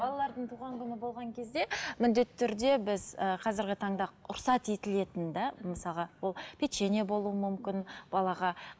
балалардың туған күні болған кезде міндетті түрде біз і қазіргі таңда рұқсат етілетінді мысалға ол печенье болуы мүмкін балаға